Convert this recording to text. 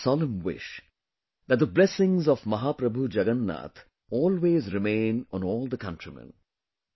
It’s my solemn wish that the blessings of Mahaprabhu Jagannath always remain on all the countrymen